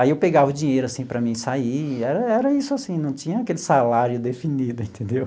Aí eu pegava o dinheiro assim para mim sair, era era isso assim, não tinha aquele salário definido, entendeu?